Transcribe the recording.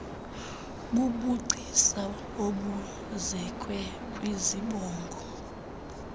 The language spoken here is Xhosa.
bubugcisa obuzekwe kwizibongo